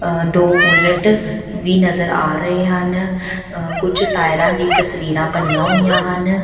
ਅ ਦੋ ਬੁਲਟ ਵੀ ਨਜ਼ਰ ਆ ਰਹੇ ਹਨ ਅ ਕੁਝ ਟਾਇਰਾਂ ਦੀ ਤਸਵੀਰਾਂ ਬਣੀਆਂ ਹੋਈਆਂ ਹਨ।